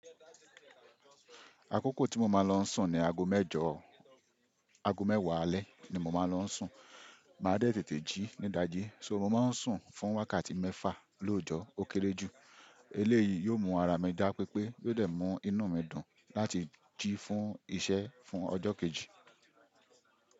Àkókò tí mo máa ń lọ sùn ni ago mẹ́jọ́, ago mẹ́wàá alẹ́ ni mo máa ń lọ sùn. Mà á dẹ́tètè jí ní dájí, so mo máa ń sùn fún wákàtí mẹ́fà lóojọ́. Ó kéré jù. Eléyìí yóò mú ara mi dá pepé, yóò dẹ̀ mú inú mi dùn láti jí fún iṣẹ́ fún ọjọ́ kejì.